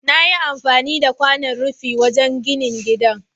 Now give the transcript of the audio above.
Nayi amfani da kwanan rufi wajan ginin gida